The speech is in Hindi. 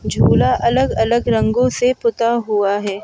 झूला अलग अलग रंगों से पुता हुआ है।